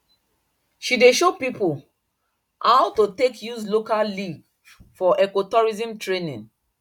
she dey show people how to take use local leaf for ecotourism training